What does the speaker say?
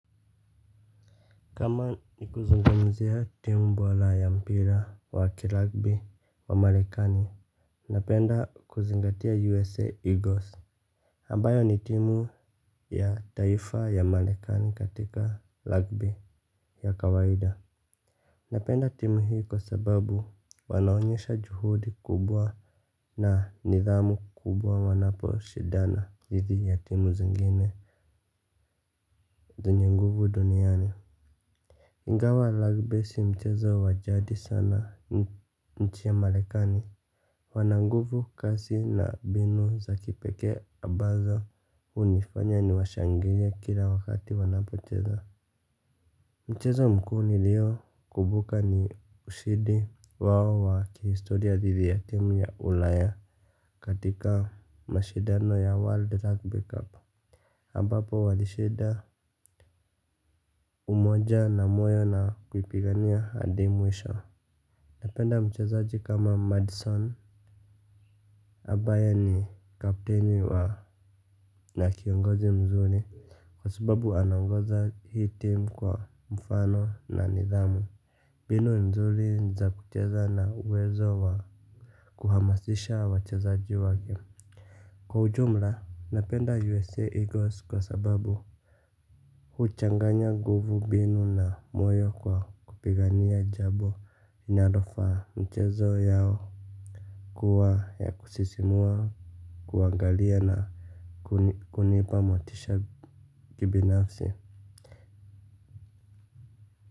Kama ni kuzungamzia timu bola ya mpira wa kiragbi wa marekani. Napenda kuzingatia USA Eagles ambayo ni timu ya taifa ya malikani katika lagbi ya kawaida. Napenda timu hii kwa sababu wanaonyesha juhudi kubwa na nidhamu kubwa wanapo shidana dhiithi ya timu zingine zenye nguvu duniani. Ingawa rugby si mchezo wajadi sana nchi ya malekani. Wananguvu kasi na binu za kipekee ambazo unifanya ni washangilie kila wakati wanapocheza. Mchezo mkuu nilio kubuka ni ushidi wao wa kihistoria dhidi ya team ya ulaya. Katika mashidano ya world rugby cup ambapo walishida umoja na moyo na kuipigania hadi mwisho. Napenda mchezaji kama Madison ambaye ni kapteni wa na kiongozi mzuri kwa sababu anaongoza hii team kwa mfano na nidhamu. Binu mzuri za kucheza na uwezo wa kuhamasisha wa chezaji wake. Kwa ujumla napenda U.S.A. Eagles kwa sababu huchanganya nguvu binu na moyo kwa kupigania jabo inadofa mchezo yao kuwa ya kusisimua, kuangalia na kunipa motisha kibinafsi.